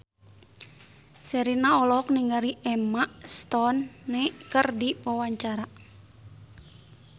Sherina olohok ningali Emma Stone keur diwawancara